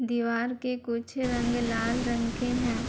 दीवार के कुछ रंग लाल रंग के हैं।